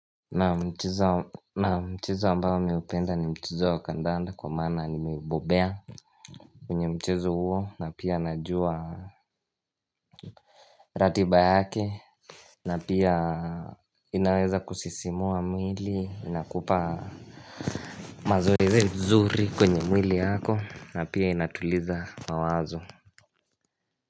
Naam mchezo ambao naupenda ni mchezo wa kandanda kwa maana nimebobea kwenye mchezo huo na pia najua ratiba yake na pia inaweza kusisimua mwili inakupa mazoezi nzuri kwenye mwili wako na pia inatuliza mawazo.